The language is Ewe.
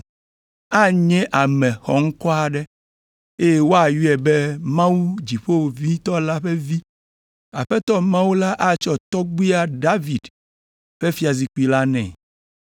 Anye ame xɔŋkɔ aɖe, eye woayɔe be Mawu Dziƒoʋĩtɔ la ƒe Vi. Aƒetɔ Mawu la atsɔ tɔgbuia David ƒe fiazikpui la nɛ.